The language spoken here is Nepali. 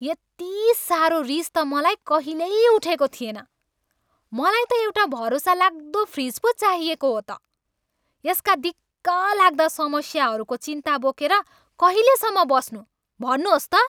यति साह्रो रिस त मलाई कहिल्यै उठेको थिएन। मलाई त एउटा भरोसालाग्दो फ्रिज पो चाहिएको हो त। यसका दिक्कलाग्दा समस्याहरूको चिन्ता बोकेर कहिलेसम्म बस्नू? भन्नुहोस् त!